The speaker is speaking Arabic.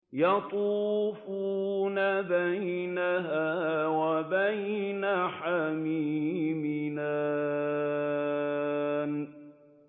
يَطُوفُونَ بَيْنَهَا وَبَيْنَ حَمِيمٍ آنٍ